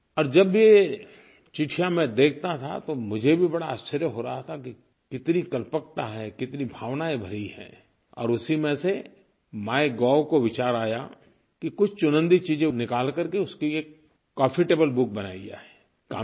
और जब भी ये चिट्ठियाँ मैं देखता था तो मुझे भी बड़ा आश्चर्य हो रहा था कि कितनी कल्पकता है कितनी भावनायें भरी हैं और उसी में से माइगोव को विचार आया कि कुछ चुनिन्दा चीज़ें निकाल करके उसकी एक कॉफी टेबल बुक बनाई जाए